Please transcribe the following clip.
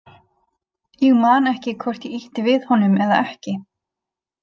Ég man ekki hvort ég ýtti við honum eða ekki.